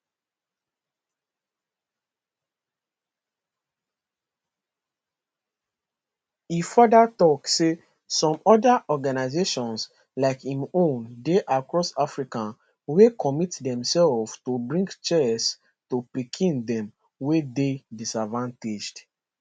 e further tok say some oda organisations like im own dey across africa wey commit demselves to bring chess to pikin dem wey dey disadvantaged